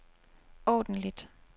ordentligt